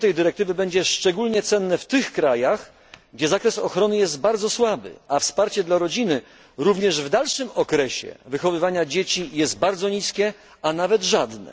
Znaczenie tej dyrektywy będzie szczególnie cenne w tych krajach, gdzie zakres ochrony jest bardzo słaby, a wsparcie dla rodziny, również w dalszym okresie wychowywania dzieci, jest bardzo niskie, a nawet żadne.